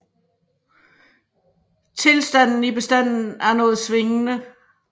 Tilstanden i bestanden er noget svingende